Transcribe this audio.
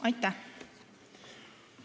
Aitäh!